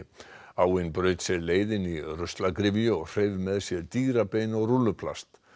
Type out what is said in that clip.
áin braut sér leið inn í ruslagryfju og hreif með sér og rúlluplast